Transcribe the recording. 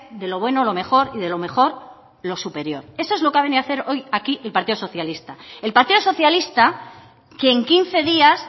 de lo bueno lo mejor y de lo mejor lo superior esto es lo que ha venido a hacer hoy aquí el partido socialista el partido socialista que en quince días